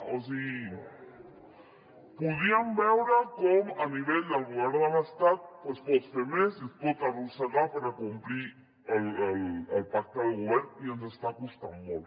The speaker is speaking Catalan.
o sigui podríem veure com a nivell del govern de l’estat es pot fer més es pot arrossegar per complir el pacte de govern i ens està costant molt